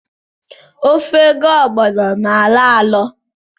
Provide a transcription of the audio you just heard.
Ofe ga-ọgbọno na-alọ alọ